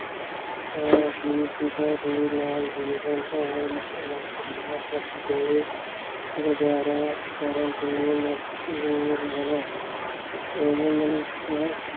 ਤਾਂ ਅਸੀਂ ਜੀਵਨ ਭਰ ਕੇ ਗੁਜ਼ਾਰਾ ਕਰਨ ਤੇ ਰਹਿਣਾ ਇਹ ਮਨੁੱਖ